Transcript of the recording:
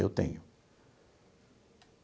Eu tenho.